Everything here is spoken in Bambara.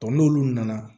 n'olu nana